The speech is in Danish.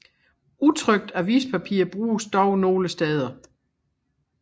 Utrykt avispapir bruges dog nogle steder